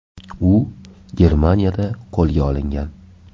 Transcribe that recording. U Germaniyada qo‘lga olingan.